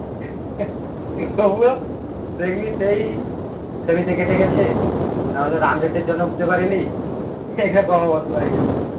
তা ইয়ে সেই শনিটা কেটে গেছে নাহলে run rate এর জন্য উঠতে পারে নি এই রকম অবস্থা হয়ে গেছে